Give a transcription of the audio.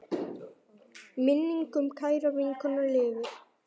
Minning um kæra vinkonu lifir.